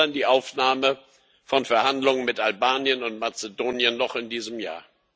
Und wir fordern die Aufnahme von Verhandlungen mit Albanien und Mazedonien noch in diesem Jahr.